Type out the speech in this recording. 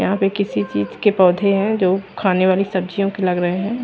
यहां पे किसी चीज के पौधे हैं जो खाने वाली सब्जियों के लग रहे हैं।